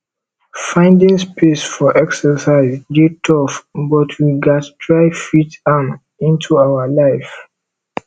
finding space for exercise dey tough but we gatz try fit am into our life